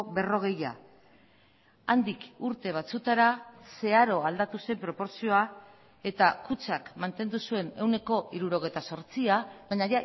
berrogeia handik urte batzuetara zeharo aldatu zen proportzioa eta kutxak mantendu zuen ehuneko hirurogeita zortzia baina